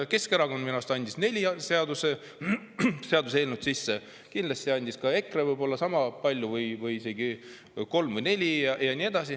Keskerakond andis minu arust sisse neli seaduseelnõu sellel teemal, kindlasti andis ka EKRE niisama palju, kolm või neli.